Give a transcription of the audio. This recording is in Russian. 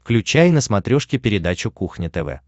включай на смотрешке передачу кухня тв